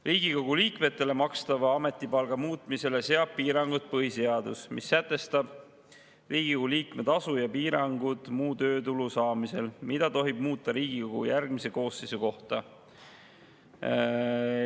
Riigikogu liikmetele makstava ametipalga muutmisele seab piirangud põhiseadus, mis sätestab Riigikogu liikme tasu ning piirangud muu töötulu saamisel, mida tohib muuta Riigikogu järgmise koosseisu kohta.